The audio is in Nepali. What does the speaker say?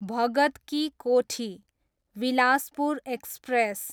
भगत की कोठी, बिलासपुर एक्सप्रेस